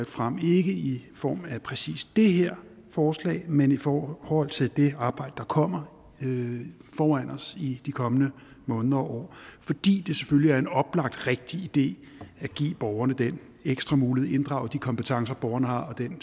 frem ikke i form af præcis det her forslag men i forhold til det arbejde der kommer foran os i de kommende måneder og år fordi det selvfølgelig er en oplagt rigtig idé at give borgerne den ekstra mulighed at inddrage de kompetencer borgerne har og den